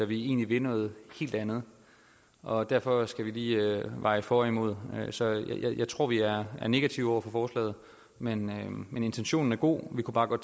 vi egentlig vil noget helt andet og derfor skal vi lige veje for og imod så jeg tror vi er negative over for forslaget men men intentionen er god